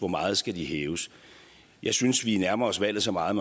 meget skal de hæves jeg synes vi nærmer os valget så meget